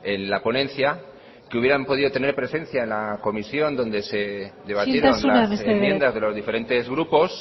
en la ponencia que hubieran podido tener presencia en la comisión donde se debatieron las enmiendas de los diferentes grupos